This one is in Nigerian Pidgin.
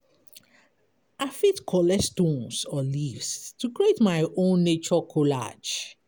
I fit collect stones or leaves to create my own nature collage.